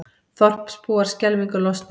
Þorpsbúar skelfingu lostnir